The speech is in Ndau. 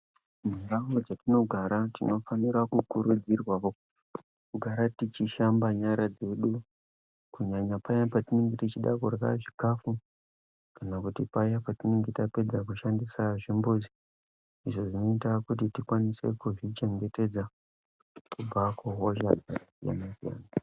Mundau mwetinogara tinofanira kukurudzirwa kugara techishamba nyara dzedu kunyanya paya petinenge techide kudye chikafu kana kuti paya patinenge tapedza kushandisa zvimbuzi izvi zvinoita kuti tikwanise kuzvichengetedza kubva kuhosha dzakasiyana siyana.